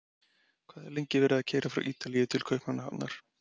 Hvað er lengi verið að keyra frá Ítalíu til Kaupmannahafnar?